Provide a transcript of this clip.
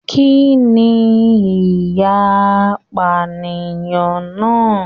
Kínní ìyà apànìyàn náà?